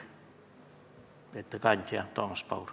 Ettekandja on Toomas Paur.